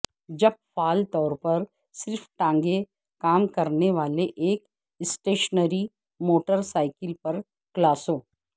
جب فعال طور پر صرف ٹانگیں کام کرنے والے ایک اسٹیشنری موٹر سائیکل پر کلاسوں